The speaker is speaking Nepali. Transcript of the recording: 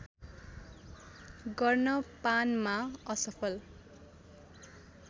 गर्न पानमा असफल